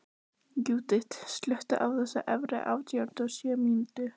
Júdit, slökktu á þessu eftir áttatíu og sjö mínútur.